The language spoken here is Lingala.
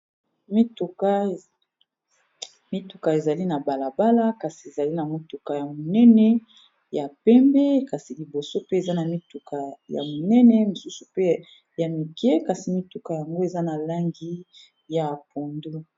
Mituka ezali na balabala kasi ezali na mutuka ya monene ya pembe kasi liboso pe eza na mituka ya monene mosusu pe ya mike kasi mituka yango eza na langi ya pondu.